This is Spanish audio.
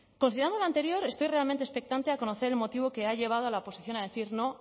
considerando lo anterior estoy realmente expectante a conocer el motivo que ha llevado a la oposición a decir no